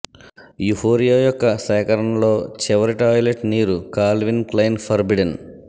euphoria యొక్క సేకరణలో చివరి టాయిలెట్ నీరు కాల్విన్ క్లైన్ ఫర్బిడెన్